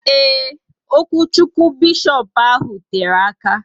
Eee, okwuchukwu beshopu ahụ tere aka